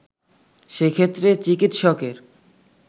সেক্ষেত্রে চিকিৎসকের